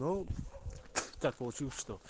ну так получилось что